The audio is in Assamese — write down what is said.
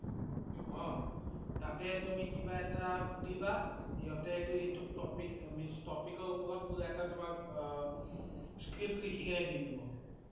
অ' তাতে তুমি কিবা এটা সুধিবা । সিহঁতে এইটো ~এইটো topic, means topic ৰ ওপৰত পুৰা এটা তোমাৰ আ script লিখি কেনে দি দিব